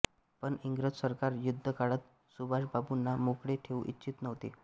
पण इंग्रज सरकार युद्धकाळात सुभाषबाबूंना मोकळे ठेवू इच्छीत नव्हते